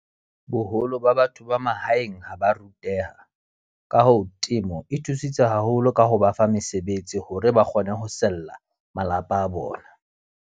Boholo ba batho ba mahaeng ha ba ruteha. Ka hoo, temo e thusitse haholo ka ho ba fa mesebetsi hore ba kgone ho sella malapa a bona.